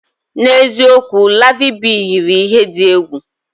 N'eziokwu? Larvae Bee yiri ihe dị egwu.